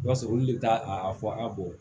I b'a sɔrɔ olu le taa a fɔ a bɔ